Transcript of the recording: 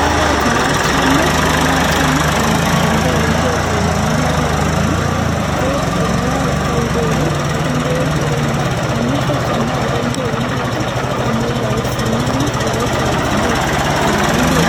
Oret ne achame anegen beek igwekchuk en mbarenyun ii, ko ele oibtoi beek ii ak ndooit agoi mbar. Amun si achame oiben beek ndooit ii ko amun roisi iman ii ago chokinet anaga ngwek.